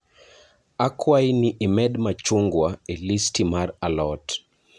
Akwayi ni imed machungwa e listi mar a lot